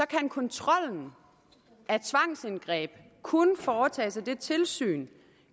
kan kontrollen af tvangsindgreb kun foretages af dette tilsyn